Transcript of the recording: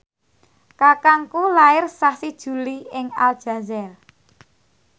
kakangku lair sasi Juli ing Aljazair